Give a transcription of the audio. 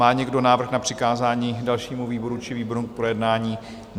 Má někdo návrh na přikázání dalšímu výboru či výborům k projednání?